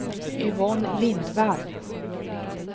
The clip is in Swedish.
Yvonne Lindvall